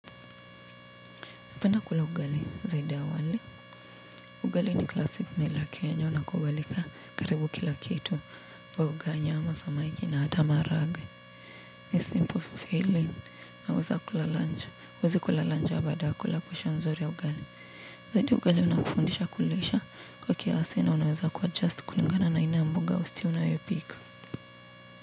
Napenda kula ugali zaidi ya wali. Ugali ni classic mila kenya. Zinakubalika karibu kila kitu wa uganya ama samaiki na hata maharagwe. Ni simple for feeling. Naweza kula lunch. Naweza kula lange au baada ya kula kwisha nzuri ya ugali. Zaidi ugali unakufundisha kulisha kwa kiasi na unaweza kuadjust kulingana na aina mboga au stew unayopika.